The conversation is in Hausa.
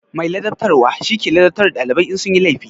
Mai ladabtarwa shi ke ladabtar da dalibai in sun yi laifi.